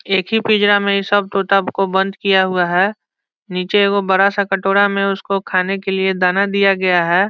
एक ही पिंजरा में सब तोता को बंद किया हुआ है नीचे वो बड़ा सा कटोरा में उसको खाने के लिए दाना दिया गया है।